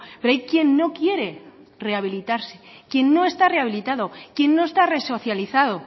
pero hay quien no quiere rehabilitarse quien no está rehabilitado quien no está resocializado